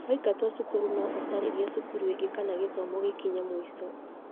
Waingatwo cukuru no ũcaririe cukuru ĩngĩ kana gĩthomo gikinye mũico